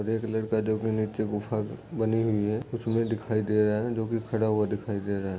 एक लड़का जो की नीचे गुफा बनी हुई है उसमें दिखाई दे रहा है जो की खड़ा हुआ दिखाई दे रहा है।